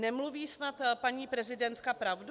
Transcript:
Nemluví snad paní prezidentka pravdu?